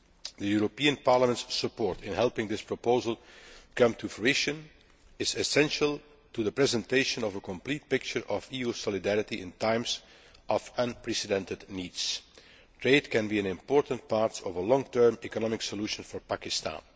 The European Parliament's support in helping this proposal come to fruition is essential to the presentation of a complete picture of EU solidarity in times of unprecedented needs. Trade can be an important part of a long term economic solution for Pakistan.